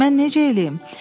Mən necə eləyim?